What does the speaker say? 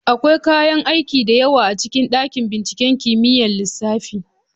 Akwai kayan aiki da yawa a cikin dakin binciken kimiyyar lissafi.